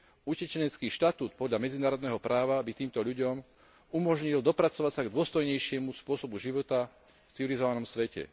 Utečenecký štatút podľa medzinárodného práva by týmto ľuďom umožnil dopracovať sa k dôstojnejšiemu spôsobu života v civilizovanom svete.